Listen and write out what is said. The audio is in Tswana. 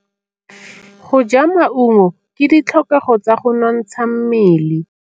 Go ja maungo ke ditlhokegô tsa go nontsha mmele.